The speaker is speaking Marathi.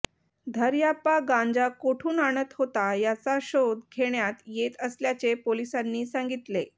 धऱयाप्पा गांजा कोठून आणत होता याचा शोध घेण्यात येत असल्याचे पोलिसांनी सांगितले